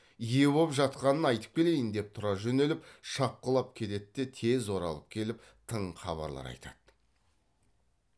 ие боп жатқанын айтып келейін деп тұра жөнеліп шапқылап кетет те тез оралып келіп тың хабарлар айтады